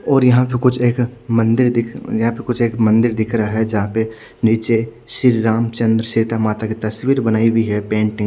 और यहा जो कुछ एक मंदिर दिख यहाँ पर कुछ एक मंदिर दिख रहा है जहा पर निचे श्री राम चन्द्र सीता माता की तस्वीर बनाई गयी है पेंटिंग --